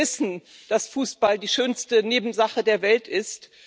Wir wissen, dass Fußball die schönste Nebensache der Welt ist.